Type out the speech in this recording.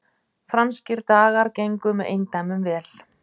Franskir dagar gengu með eindæmum vel